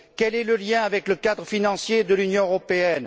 Quel est le lien avec le cadre financier de l'Union européenne?